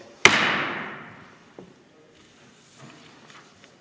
Sõna võtta soovijaid ei ole.